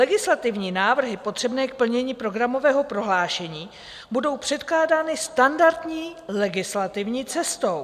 Legislativní návrhy potřebné k plnění programového prohlášení budou předkládány standardní legislativní cestou.